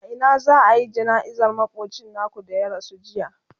a Ina za'ayi jana'izar makocin naku da ya rasu jiya?